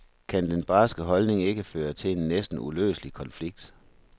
Kan den barske holdning ikke føre til en næsten uløselig konflikt?